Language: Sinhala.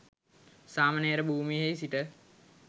සාමණේර භූමියෙහි සිට